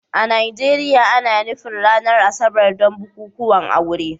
A Najeriya, ana nufin ranar Asabar don bukukuwan aure